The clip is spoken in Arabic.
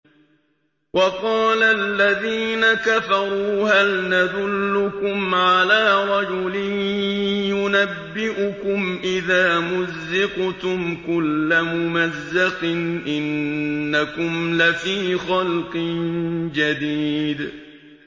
وَقَالَ الَّذِينَ كَفَرُوا هَلْ نَدُلُّكُمْ عَلَىٰ رَجُلٍ يُنَبِّئُكُمْ إِذَا مُزِّقْتُمْ كُلَّ مُمَزَّقٍ إِنَّكُمْ لَفِي خَلْقٍ جَدِيدٍ